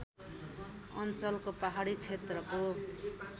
अञ्चलको पहाडी क्षेत्रको